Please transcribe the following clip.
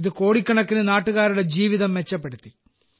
ഇത് കോടിക്കണക്കിന് നാട്ടുകാരുടെ ജീവിതം മെച്ചപ്പെടുത്തി